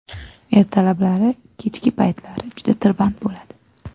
Ertalablari, kechki paytlari juda tirband bo‘ladi.